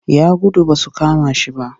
Ya gudu ba su kama shi ba